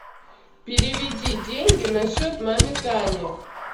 переведи деньги на счет маме тане